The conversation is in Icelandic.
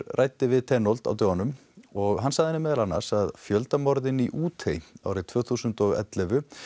ræddi við á dögunum og hann sagði henni meðal annars að fjöldamorðin í Útey árið tvö þúsund og ellefu